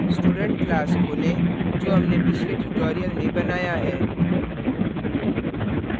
student class खोलें जो हमनें पिछले tutorial में बनाया है